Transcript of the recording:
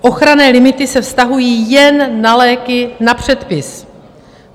Ochranné limity se vztahují jen na léky na předpis.